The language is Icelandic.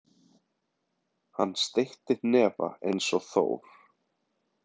Hann steytti hnefa eins og Þór.